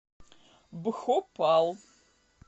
бхопал